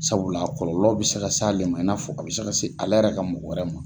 Sabula kɔlɔlɔ bɛ se ka s'ale ma i n'a fɔ a bɛ se ka se ale yɛrɛ ka mɔgɔ wɛrɛ ma.